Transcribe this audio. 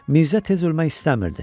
Mirzə tez ölmək istəmirdi.